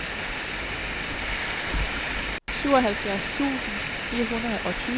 syvoghalvfjerds tusind fire hundrede og tyve